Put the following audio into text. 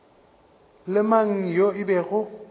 le mang yo e bego